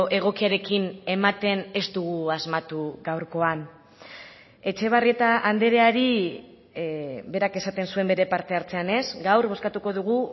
egokiarekin ematen ez dugu asmatu gaurkoan etxebarrieta andreari berak esaten zuen bere parte hartzean ez gaur bozkatuko dugu